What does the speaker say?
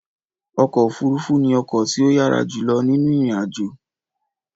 Ọkọ òfurufú ni ọkọ tí o yàrá julọ ninu ìrìn àjò